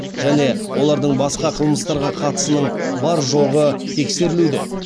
және олардың басқа қылмыстарға қатысының бар жоғы тексерілуде